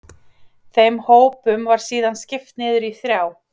Þeim hópum var síðan skipt niður í þrjá.